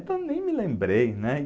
Então nem me lembrei, né?